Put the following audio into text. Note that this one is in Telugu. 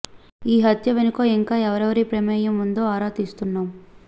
ఈ హత్య వెనుక ఇంకా ఎవరెవరి ప్రమేయం ఉందో ఆరా తీస్తున్నాం